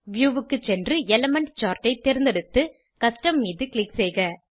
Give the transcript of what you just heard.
view க்கு சென்று element chart ஐ தேர்ந்தெடுத்து கஸ்டம் மீது க்ளிக் செய்க